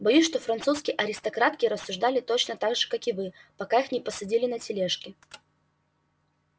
боюсь что французские аристократки рассуждали точно так же как вы пока их не посадили на тележки